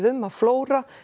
um að flóra